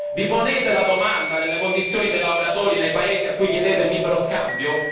Vi ponete la domanda delle condizioni dei lavoratori nei Paesi a cui chiedete il libero scambio?